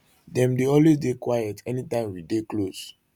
dem always dey quiet anytime we dey close